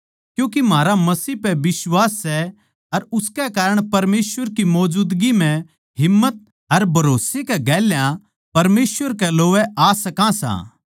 क्यूँके म्हारा मसीह पै बिश्वास सै अर उसकै कारण परमेसवर की मौजूदगी म्ह हिम्मत अर भरोस्से के गेल्या परमेसवर कै लोवै आ सका सां